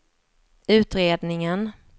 utredningen